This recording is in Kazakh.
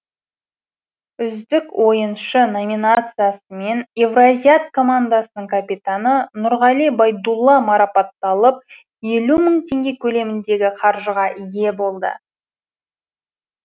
үздік ойыншы номинациясымен евразиат командасының капитаны нұрғали байдулла марапатталып елу мың теңге көлеміндегі қаржығы ие болды